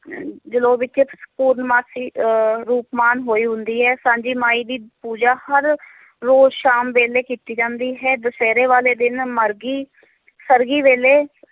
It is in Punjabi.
ਅਹ ਜਲੌ ਵਿੱਚ ਪੂਰਨਮਾਸੀ ਅਹ ਰੂਪਮਾਨ ਹੋਈ ਹੁੰਦੀ ਹੈ, ਸਾਂਝੀ ਮਾਈ ਦੀ ਪੂਜਾ ਹਰ ਰੋਜ਼ ਸ਼ਾਮ ਵੇਲੇ ਕੀਤੀ ਜਾਂਦੀ ਹੈ, ਦੁਸਹਿਰੇ ਵਾਲੇ ਦਿਨ, ਮਰਗੀ ਸਰਘੀ ਵੇਲੇ